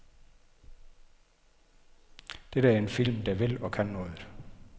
Dette er en film, der vil og kan noget.